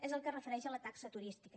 és el que es refereix a la taxa turística